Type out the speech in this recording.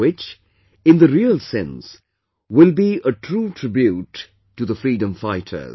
Which, in the real sense, will be a true tribute to the freedom fighters